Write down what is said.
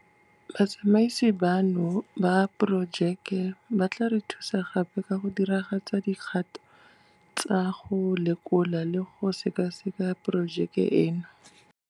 Batsamaisi bano ba Diporojeke ba tla re thusa gape ka go diragatsa dikgato tsa go lekola le go sekaseka porojeke eno.